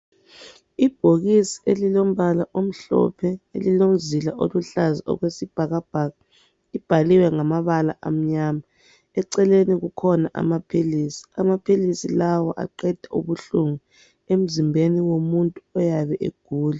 Ibhokisi elilombala omhlophe elilomzila oluhlaza okwesibhakabhaka libhaliwe ngamabala amnyama. Eceleni kukhona amaphilisi, amaphilisi aqeda ubuhlungu emzimbeni womuntu oyabe egula.